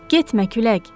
Getmə külək!